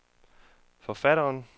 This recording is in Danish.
forfatteren